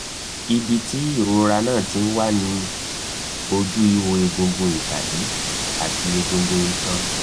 ibi tí ìrora náà ti ń wá ni inú oju iho egungun ibadi ati egungun itan